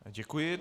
Děkuji.